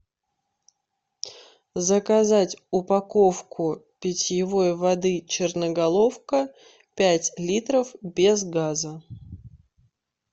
заказать упаковку питьевой воды черноголовка пять литров без газа